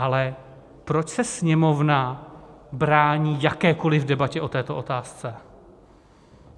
Ale proč se Sněmovna brání jakékoliv debatě o této otázce?